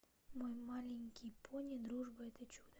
мой маленький пони дружба это чудо